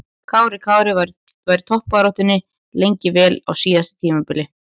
Kári Kári var í toppbaráttunni lengi vel á síðasta tímabili.